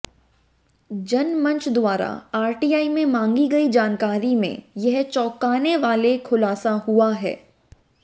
जनमंच द्वारा आरटीआई में मांगी गई जानकारी में यह चौंकाने वाले खुलासा हुआ है